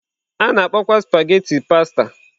A na-akpọkwa spaghetị pasta.